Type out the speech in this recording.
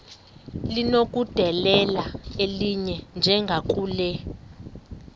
linokudedela elinye njengakule